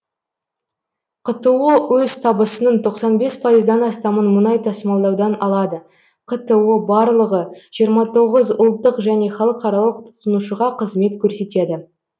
қто өз табысының тоқсан бес пайыздан астамын мұнай тасымалдаудан алады қто барлығы жиырма тоғыз ұлттық және халықаралық тұтынушыға қызмет көрсетеді